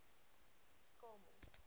kamel